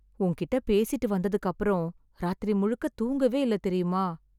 உன்கிட்ட பேசிட்டு வந்ததுக்கப்றம் ராத்திரி முழுக்க தூங்கவே இல்ல தெரியுமா...